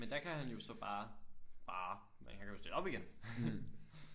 Men der kan han jo så bare bare man kan jo stille op igen